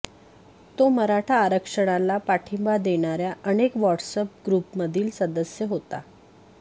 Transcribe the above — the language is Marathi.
तो मराठा आरक्षणाला पाठिंबा देणाऱ्या अनेक व्हॉट्स अॅप ग्रुपमधील सदस्य होता